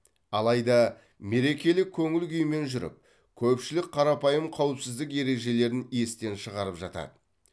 алайда мерекелік көңіл күймен жүріп көпшілік қарапайым қауіпсіздік ережелерін естен шығарып жатады